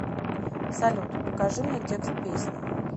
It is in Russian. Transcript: салют покажи мне текст песни